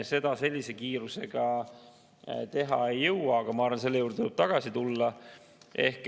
Seda kiiresti teha ei jõua, aga ma arvan, et selle juurde tuleb tagasi tulla.